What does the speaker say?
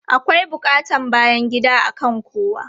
Akwai buƙatan bayan gida akan kowa.